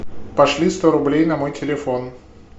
пошли сто рублей на мой телефон